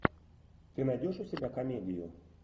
ты найдешь у себя комедию